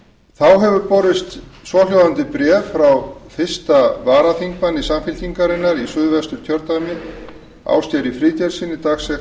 þá hefur borist svohljóðandi bréf frá fyrstu varaþingmanni samfylkingarinnar í suðvesturkjördæmi ásgeiri friðgeirssyni dagsett